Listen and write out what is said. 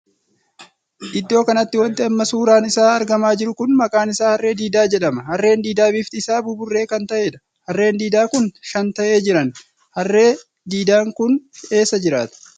Iddoo kanatti wanti amma suuraan isaa argamaa jiru kun maqaan isaa harree diidaa jedhama. harree diidaan bifti isaa buburree kan taheedha. harre diidaan kun shan tahee jiran harree diidaan kun eessa jiraata?